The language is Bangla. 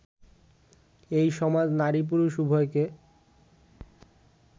এই সমাজ নারী পুরুষ উভয়কে